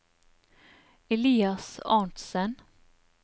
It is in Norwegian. Elias Arntzen